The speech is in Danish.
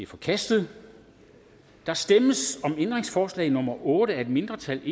forkastet der stemmes om ændringsforslag nummer otte af et mindretal